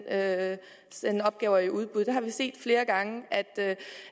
at sende opgaver i udbud vi har set flere gange